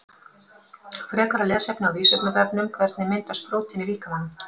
Frekara lesefni á Vísindavefnum Hvernig myndast prótín í líkamanum?